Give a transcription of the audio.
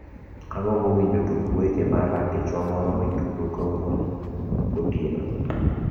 agombo winjo tuk wech mar ratichwa moro nitugo kawuono gotieno